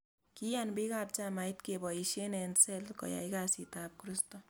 Kiyan biik ab chamait keboisie eng sel koyay kasit ab kristo